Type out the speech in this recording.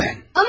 Amma qardaş!